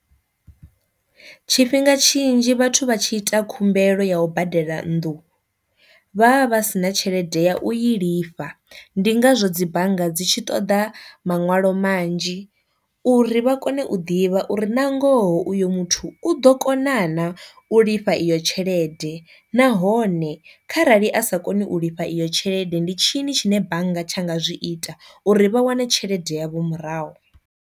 Tshifhinga tshinzhi vhathu vha tshi ita khumbelo ya ubadela nnḓu, vhavha vha sina tshelede ya u i lifha ndi ngazwo dzi bannga dzi tshi ṱoḓa maṋwalo manzhi, uri vha kone u ḓivha uri na ngoho uyo muthu u ḓo kona na u lifha iyo tshelede nahone, kha rali a sa koni u lifha iyo tshelede ndi tshini tshine bannga tsha nga zwi ita uri vha wane tshelede ya vho murahu.